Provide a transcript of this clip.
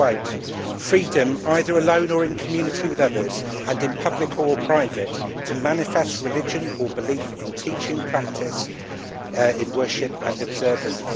I quote, Freedom, either alone or in community with others and in public or private, to manifest religion or belief in teaching, practice, worship and observance'.